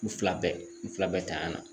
U fila bɛɛ u fila bɛɛ tanyana